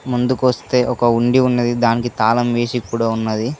ముందుకొస్తే ఒక ఉండి ఉన్నది దానికి తాళం వేసి కూడా ఉన్నది.